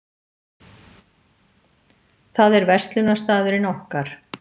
Það er verslunarstaðurinn okkar.